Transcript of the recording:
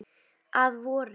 Að vori.